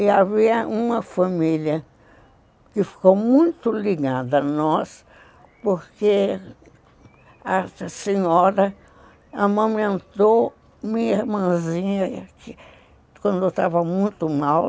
E havia uma família que ficou muito ligada a nós, porque a senhora amamentou minha irmãzinha, que quando estava muito mal,